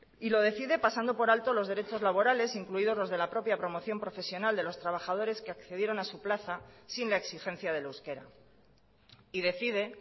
y lo decide pasando por alto los derechos laborales incluidos los de la propia promoción profesional de los trabajadores que accedieron a su plaza sin la exigencia del euskera y decide